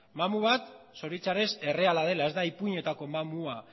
mamu bat zoritxarrez erreala dela ez da ipuinetako mamua